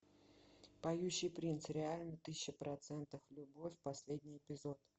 поющий принц реально тысяча процентов любовь последний эпизод